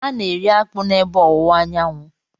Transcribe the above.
A na-eri akpu n'ebe ọwụwa anyanwụ.